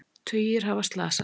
Tugir hafa slasast